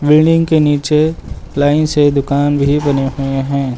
Building के नीचे line से दुकान भी बने हुए हैं।